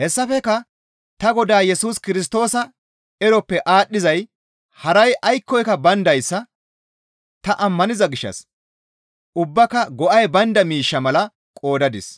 Hessafekka ta Godaa Yesus Kirstoosa eroppe aadhdhizay haray aykkoyka bayndayssa ta ammaniza gishshas ubbaaka go7ay baynda miishsha mala qoodadis;